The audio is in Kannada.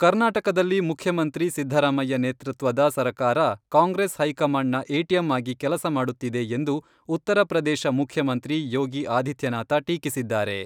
ಕರ್ನಾಟಕದಲ್ಲಿ ಮುಖ್ಯಮಂತ್ರಿ ಸಿದ್ದರಾಮಯ್ಯ ನೇತೃತ್ವದ ಸರಕಾರ ಕಾಂಗ್ರೆಸ್ ಹೈಕಮಾಂಡ್ನ ಎಟಿಎಂ ಆಗಿ ಕೆಲಸ ಮಾಡುತ್ತಿದೆ ಎಂದು ಉತ್ತರಪ್ರದೇಶ ಮುಖ್ಯಮಂತ್ರಿ ಯೋಗಿ ಆದಿತ್ಯನಾಥ ಟೀಕಿಸಿದ್ದಾರೆ.